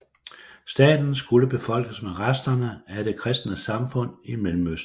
Staten skulle befolkes med resterne af det kristne samfund i Mellemøsten